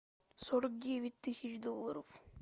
сорок девять тысяч долларов